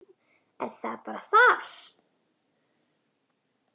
Er það bara þar?